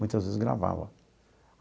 Muitas vezes gravava.